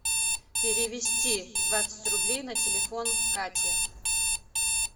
перевести двадцать рублей на телефон кате